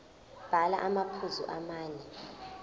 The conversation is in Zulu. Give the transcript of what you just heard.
bhala amaphuzu amane